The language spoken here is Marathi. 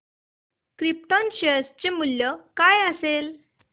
क्रिप्टॉन शेअर चे मूल्य काय असेल